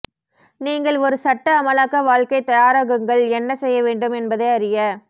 நீங்கள் ஒரு சட்ட அமலாக்க வாழ்க்கை தயாராகுங்கள் என்ன செய்ய வேண்டும் என்பதை அறிய